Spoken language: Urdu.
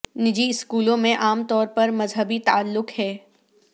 نجی اسکولوں میں عام طور پر مذہبی تعلق ہے